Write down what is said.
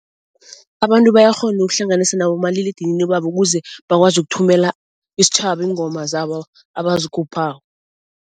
Abantu bayakghona ukuhlanganisa nabomaliledinini babo ukuze bakwazi ukuthumela isitjhaba iingoma zabo abazikhuphako.